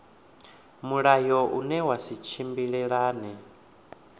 mulayo une wa sa tshimbilelane